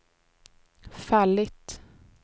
fallit